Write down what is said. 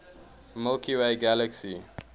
milky way galaxy